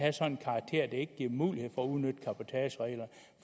en sådan karakter at det ikke giver mulighed